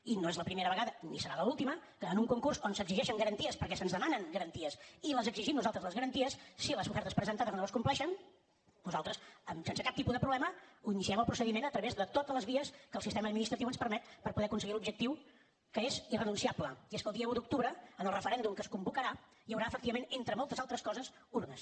i no és la primera vegada ni serà l’última que en un concurs on s’exigeixen garanties perquè se’ns demanen garanties i les exigim nosaltres les garanties si les ofertes presentades no les compleixen nosaltres sense cap tipus de problema iniciem el procediment a través de totes les vies que el sistema administratiu ens permet per poder aconseguir l’objectiu que és irrenunciable i és que el dia un d’octubre en el referèndum que es convocarà hi haurà efectivament entre moltes altres coses urnes